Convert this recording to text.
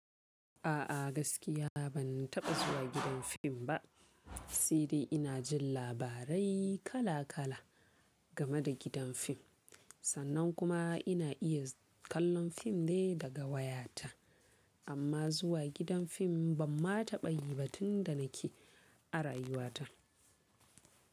A'a gaskiya ban taɓa zuwa gidan fim ba. Saidai ina jin labarai kala kala game da gidan fim. Sannan kuma ina iya kallon fim ne daga wayata. Amma zuwa gidan fim ban ma taɓa yi ba tunda nake a rayuwata.